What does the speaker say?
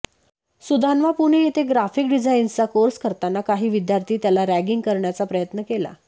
सुधान्वा पुणे येथे ग्राफिक डिझायन्सचा कोर्स करताना काही विद्यार्थी त्याला रॅगींग करण्याचा प्रयत्न केला